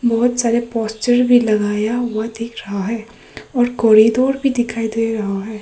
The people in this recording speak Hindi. बहोत सारे पोस्टर भी लगाया हुआ दिख रहा है और कॉरिडोर भी दिखाई दे रहा है।